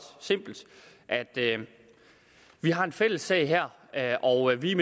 at vi har en fælles sag her her og at vi